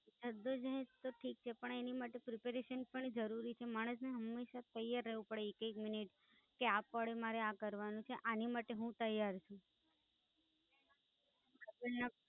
જદ્દોજહેદ તો ઠીક છે, પણ એની માટે Preparation પણ જરૂરી છે માણસને હંમેશા તૈયાર રેવું પડે એક એક મિનિટ કે આ Coding મારે આ કરવાનું છે, એની માટે હું તૈયાર છું. આગળના